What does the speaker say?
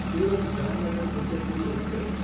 Surat Jamnagar intercity express